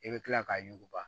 I bɛ kila k'a yuguba